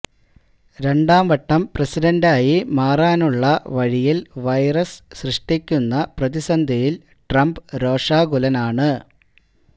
രണ്ടാം വട്ടം പ്രസിഡന്റായി മാറാനുള്ള വഴിയിൽ വൈറസ് സൃഷ്ടിക്കുന്ന പ്രതിസന്ധിയിൽ ട്രംപ് രോഷാകുലനാണ്